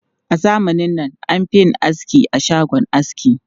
A zamanin nan, an fi yin aski a shagon aski.